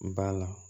Ba la